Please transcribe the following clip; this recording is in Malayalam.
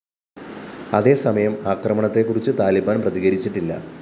അതേസമയം ആക്രമണത്തെക്കുറിച്ച് താലിബാന്‍ പ്രതികരിച്ചിട്ടില്ല